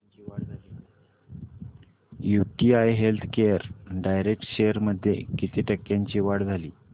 UTI healthcare direct shares मध्ये किती टक्क्यांची वाढ झाली